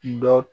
Dɔ